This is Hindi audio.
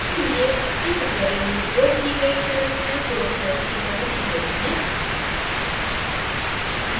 आपके लिए इस tutorial में प्रयोग की गयीं संरचनायें code files की तरह दी गयीं हैं